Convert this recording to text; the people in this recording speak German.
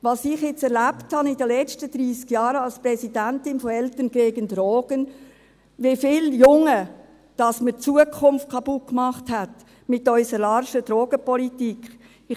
Was ich jetzt erlebt habe in den letzten 30 Jahren als Präsidentin von «Eltern gegen Drogen», wie vielen Jungen man die Zukunft kaputt gemacht hat, mit unserer laschen Drogenpolitik ...